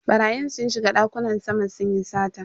Barayin sun shiga dakunan sama sunyi sata.